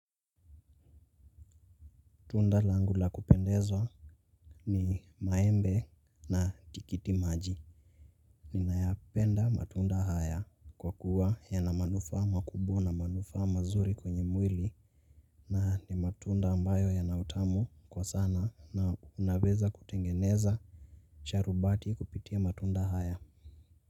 Tunda langu la kupendezwa ni maembe na tikiti maji. Ninayapenda matunda haya kwa kuwa yana manufaa makubwa na manufaa mazuri kwenye mwili. Na ni matunda ambayo yana utamu kwa sana na unaweza kutengeneza sharubati kupitia matunda haya.